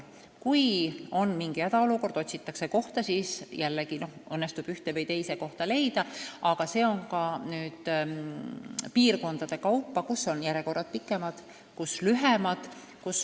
Kui on mingi hädaolukord ja otsitakse kiiresti kohta, siis õnnestub see koht leida, aga see sõltub palju ka piirkonnast – mõnel pool on järjekorrad pikemad, teisal lühemad.